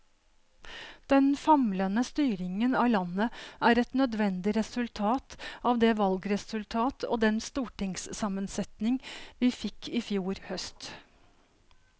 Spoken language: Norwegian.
Den famlende styringen av landet er et nødvendig resultat av det valgresultat og den stortingssammensetning vi fikk i fjor høst.